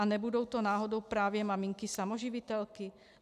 A nebudou to náhodou právě maminky samoživitelky?